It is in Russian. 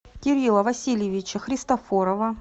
кирилла васильевича христофорова